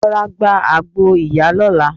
Rọra gba àgbo ìyá lọ́la.